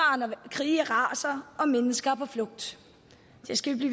når krige raser og mennesker er på flugt det skal vi